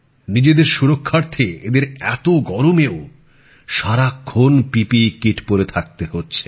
নিজেদের সুরক্ষার্থে এঁদের এত গরমেও সারাক্ষন পিপিই কিট পরে থাকতে হচ্ছে